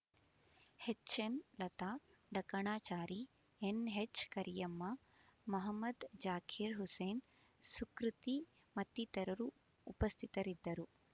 ಹೆಚ್ಎನ್ಲತಾ ಡಕಣಾಚಾರಿ ಎನ್ಹೆಚ್ಕರಿಯಮ್ಮ ಮಹಮದ್ ಜಾಕೀರ್ ಹುಸೇನ್ ಸುಕೃತಿ ಮತ್ತಿತರರು ಉಪಸ್ಥಿತರಿದ್ದರು